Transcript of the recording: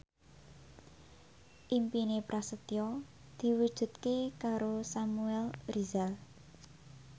impine Prasetyo diwujudke karo Samuel Rizal